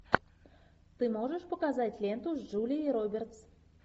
ты можешь показать ленту с джулией робертс